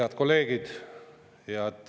Head kolleegid!